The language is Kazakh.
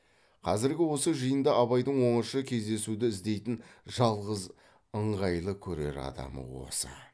қазіргі осы жиында абайдың оңаша кездесуді іздейтін жалғыз ыңғайлы көрер адамы осы